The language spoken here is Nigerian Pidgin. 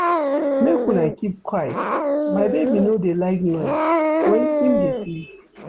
Make una keep quiet, my baby no dey like noise wen im dey sleep.